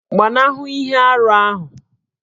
Gbanahụ ihe arụ ahụ!